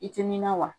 I tɛ nin na wa